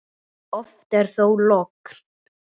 Oft er þó logn.